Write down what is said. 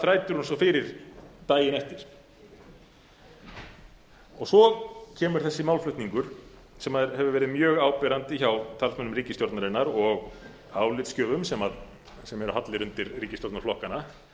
þrætir hún svo fyrir daginn eftir svo kemur þessi málflutningur sem hefur verið mjög áberandi hjá talsmönnum ríkisstjórnarinnar og álitsgjöfum sem eru hallir undir ríkisstjórnarflokkana